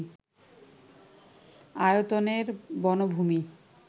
আয়তনের বনভূমি